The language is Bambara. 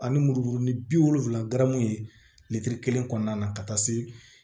Ani muru duuru ni bi wolonwula kelen kɔnɔna na ka taa se